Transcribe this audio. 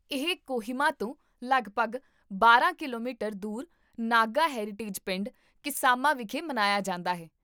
ਇਹ ਕੋਹਿਮਾ ਤੋਂ ਲਗਭਗ ਬਾਰਾਂ ਕਿਲੋਮੀਟਰ ਦੂਰ ਨਾਗਾ ਹੈਰੀਟੇਜ ਪਿੰਡ, ਕਿਸਾਮਾ ਵਿਖੇ ਮਨਾਇਆ ਜਾਂਦਾ ਹੈ